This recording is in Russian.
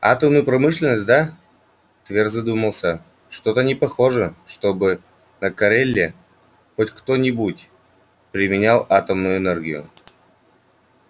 атомную промышленность да твер задумался что-то не похоже чтобы на кореле хоть где-нибудь применял атомную энергию